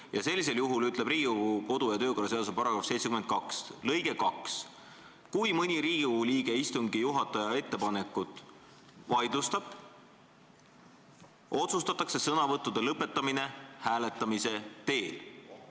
Ja sellisel juhul ütleb Riigikogu kodu- ja töökorra seaduse § 72 lõige 2: "Kui mõni Riigikogu liige istungi juhataja ettepaneku vaidlustab, otsustatakse sõnavõttude lõpetamine hääletamise teel.